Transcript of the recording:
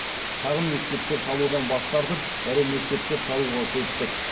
шағын мектептер салудан бас тартып ірі мектептер салуға көштік